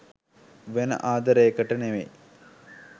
වෙන ආදරේකට නෙවෙයි